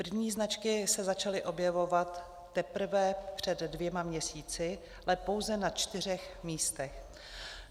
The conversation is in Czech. První značky se začaly objevovat teprve před dvěma měsíci, ale pouze na čtyřech místech.